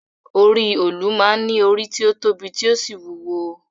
Orí òòlù máa ń ní orí tí ó tóbi tí ó sì wúwo